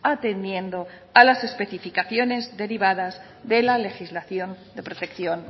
atendiendo a las especificaciones derivadas de la legislación de protección